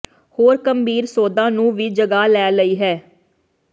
ਹੋਰ ਗੰਭੀਰ ਸੌਦਾ ਨੂੰ ਵੀ ਜਗ੍ਹਾ ਲੈ ਲਈ ਹੈ